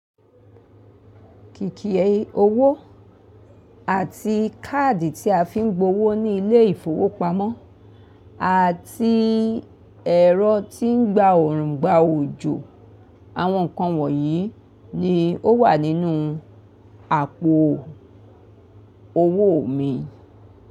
Kìkì owó àti káàdì tí a fi ń gbowó ní ilé ìfowópamọ́ àti ẹ̀rọ tí ń gba òrùngbà òjò. Àwọn nǹkan wọ̀nyí ni ó wà nínú àpò owó mi.